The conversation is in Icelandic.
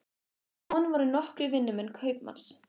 Með honum voru nokkrir vinnumenn kaupmanns.